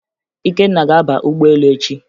Ikenna ga-aba ụgbọelu echi